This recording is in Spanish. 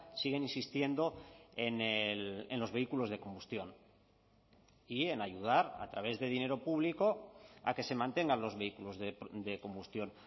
siguen insistiendo en los vehículos de combustión y en ayudar a través de dinero público a que se mantengan los vehículos de combustión